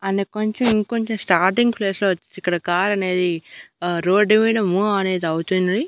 అన్న కొంచెం ఇంకొంచెం స్టార్టింగ్ ప్లేస్ లో వచ్చి ఇక్కడ కార్ అనేది ఆ రోడ్ మీద మూవ్ అనేది అవుతుంది.